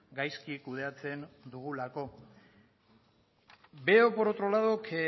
gaizki kudeatzen dugulako veo por otro lado que